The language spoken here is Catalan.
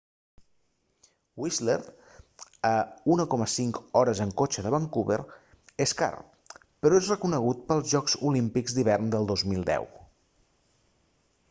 whistler a 1,5 hores en cotxe de vancouver és car però és reconegut pels jocs olímpics d'hivern de 2010